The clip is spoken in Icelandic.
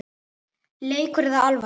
Leikur eða alvara?